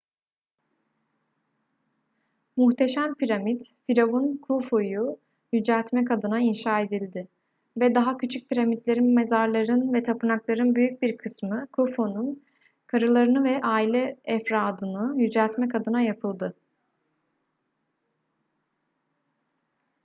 muhteşem piramit firavun khufu'yu yüceltmek adına inşa edildi ve daha küçük piramitlerin mezarların ve tapınakların büyük bir kısmı khufu'nun karılarını ve aile efradını yüceltmek adına yapıldı